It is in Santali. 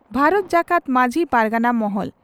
ᱵᱷᱟᱨᱚᱛ ᱡᱟᱠᱟᱛ ᱢᱟᱹᱡᱷᱤ ᱯᱟᱨᱜᱟᱱᱟ ᱢᱚᱦᱚᱞ